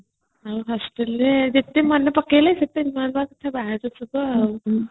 ଆଉ hostelରେ ଯେତେ ମନେ ପକେଇଲେ ସେତେ ନୂଆ କଥା ବାହାରୁଥିବ